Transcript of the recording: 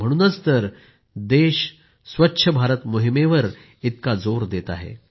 म्हणूनच तर देश स्वच्छ भारत मोहिमेवर इतका जोर देत आहे